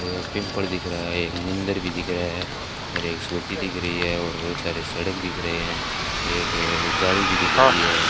दिख रहा है एक मंदिर भी दिख रहा है और एक स्कूटी दिख रही है और बहुत सारे सड़क दिख रहे हैं एक गाड़ी भी दिख रही है।